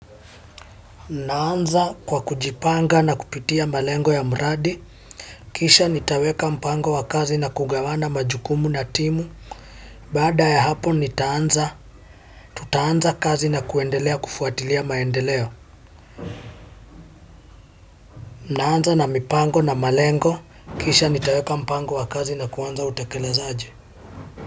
Naanza kwa kujipanga na kupitia malengo ya mradi, kisha nitaweka mpango wa kazi na kugawana majukumu na timu. Baada ya hapo nitaanza, tutaanza kazi na kuendelea kufuatilia maendeleo. Naanza na mipango na malengo, kisha nitaweka mpango wa kazi na kuanza kutekeleza.